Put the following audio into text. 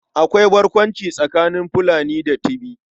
Akwai barkwanci tsakanin Fulani da Tibi.